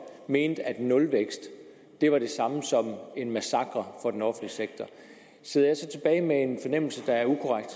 mente at nulvækst var det samme som en massakre for den offentlige sektor sidder jeg så tilbage med en fornemmelse der er ukorrekt